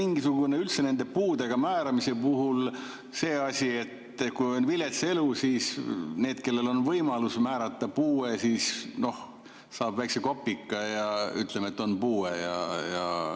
Või on üldse puude määramise puhul see asi, et kui on vilets elu, siis need, kellele on võimalus määrata puue, siis noh, et saaksid väikese kopika, ütleme, et on puue?